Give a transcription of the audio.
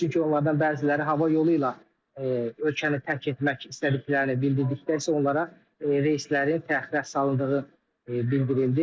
Çünki onlardan bəziləri hava yolu ilə ölkəni tərk etmək istədiklərini bildirdikdə isə onlara reyslərin təxliyə salındığı bildirildi.